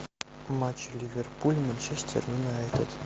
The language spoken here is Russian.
матч ливерпуль манчестер юнайтед